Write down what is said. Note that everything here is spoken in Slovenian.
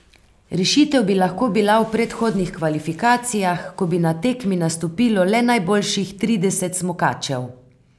Rešitev bi lahko bila v predhodnih kvalifikacijah, ko bi na tekmi nastopilo le najboljših trideset smukačev.